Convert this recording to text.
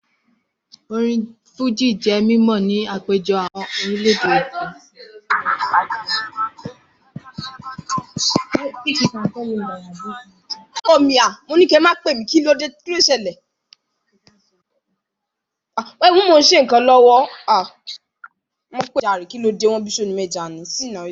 Orin Fújì jẹ́ mímọ̀ ní àpéjọ àwọn orílẹ̀ èdè